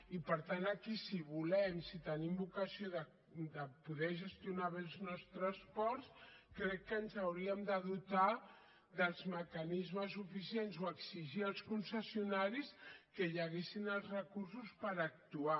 i per tant aquí si volem si tenim vocació de poder gestionar bé els nostres ports crec que ens hauríem de dotar dels mecanismes suficients o exigir als concessionaris que hi haguessin els recursos per actuar